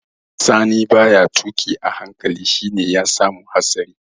Sani ba ya tuƙi a hankali shi ya sa ya samu hatsari